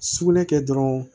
Sugunɛ kɛ dɔrɔn